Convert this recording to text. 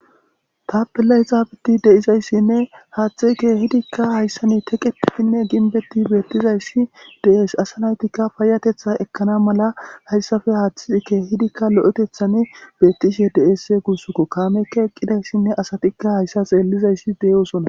tapelay zaabeti de7izayssinne haathxi ke hidikka hayssani teqetitinne ginbetti beettizayssi de7es asanaytikka paayatetha ekkana mala hayssafe haaththii ke hidikka lo7etethan beettishe deesse guussokko kaamekka eqqidayssinne asatikka hayssa xeellizayssi deyosona